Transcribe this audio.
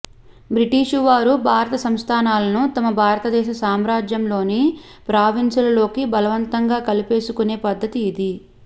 British వారు భారత సంస్థానాలను తమ భారతదేశ సామ్రాజ్యంలోని ప్రావిన్సుల లోకి బలవంతంగా కలిపేసుకునే పద్ధతి ఇది